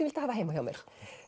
vildi hafa heima hjá mér